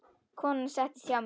Konan settist hjá mér.